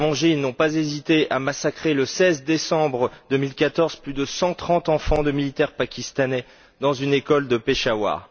Pour se venger, ils n'ont pas hésité à massacrer, le 16 décembre 2014, plus de 130 enfants de militaires pakistanais dans une école de Peshawar.